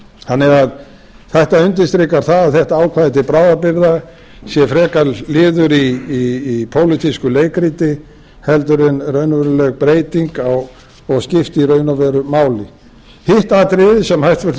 þannig að það ætti að undirstrikar það að þetta ákvæði til bráðabirgða sé frekar liður í pólitísku leikriti heldur en raunveruleg breyting og skipti í raun og veru máli hitt atriðið sem hæstvirtur